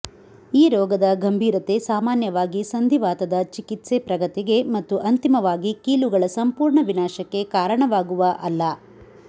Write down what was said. ಈ ರೋಗದ ಗಂಭೀರತೆ ಸಾಮಾನ್ಯವಾಗಿ ಸಂಧಿವಾತದ ಚಿಕಿತ್ಸೆ ಪ್ರಗತಿಗೆ ಮತ್ತು ಅಂತಿಮವಾಗಿ ಕೀಲುಗಳ ಸಂಪೂರ್ಣ ವಿನಾಶಕ್ಕೆ ಕಾರಣವಾಗುವ ಅಲ್ಲ